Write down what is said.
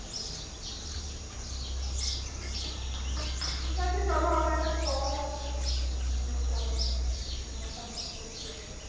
ঠিক আছে চলো আমার একটা call আসছে আমি আবার পরে connect করছি আপনাকে